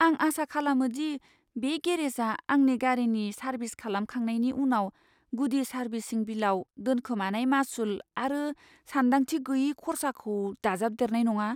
आं आसा खालामो दि बे गेरेजआ आंनि गारिनि सार्भिस खालामखांनायनि उनाव गुदि सार्भिसिं बिलाव दोनखोमानाय मासुल आरो सानदांथि गैयै खर्साखौ दाजाबदेरनाय नङा।